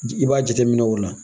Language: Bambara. I b'a jateminɛ o la